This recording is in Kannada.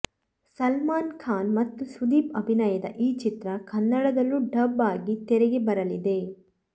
ಸಲ್ಮಾನ್ ಖಾನ್ ಮತ್ತು ಸುದೀಪ್ ಅಭಿನಯದ ಈ ಚಿತ್ರ ಕನ್ನಡದಲ್ಲೂ ಡಬ್ ಆಗಿ ತೆರೆಗೆ ಬರಲಿದೆ